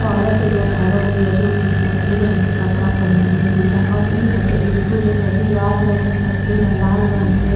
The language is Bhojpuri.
औरत एइजा खड़ा बिया जो कि सफ़ेद रंग के कपड़ा पहिनले बिया और इ हटे स्कूल । एकर दीवाल बाटे सफ़ेद आ लाल रंग के।